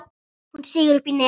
Hún sýgur upp í nefið.